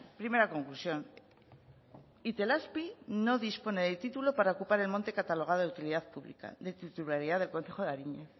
primera conclusión itelazpi no dispone de título para ocupar el monte catalogado de utilidad pública no titularidad del concejo de ariñez